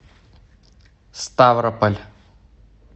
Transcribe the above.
ставрополь